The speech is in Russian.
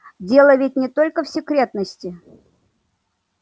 дело ведь не только в секретности